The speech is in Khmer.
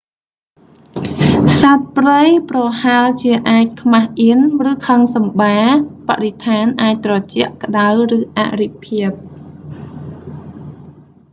សត្វព្រៃប្រហែលជាអាចខ្មាសអៀន ឬខឹងសម្បា បរិស្ថានអាចត្រជាក់ ក្តៅ ឬអរិភាព